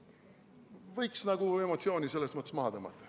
Võiks emotsiooni selles mõttes maha tõmmata.